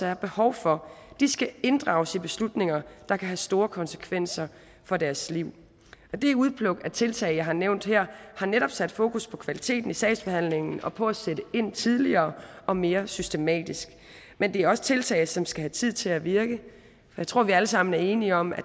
er behov for de skal inddrages i beslutninger der kan have store konsekvenser for deres liv det udpluk af tiltag jeg har nævnt her har netop sat fokus på kvaliteten i sagsbehandlingen og på at sætte ind tidligere og mere systematisk men det er også tiltag som skal have tid til at virke jeg tror at vi alle sammen er enige om at